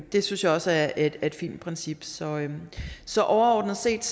det synes jeg også er et fint princip så så overordnet set